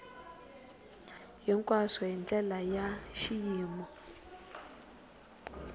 hinkwaswo hi ndlela ya xiyimo